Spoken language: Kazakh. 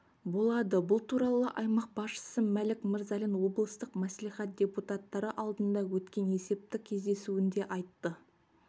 болады бұл туралы аймақ басшысы мәлік мырзалин облыстық мәслихат депутаттары алдында өткен есептік кездесуінде айтты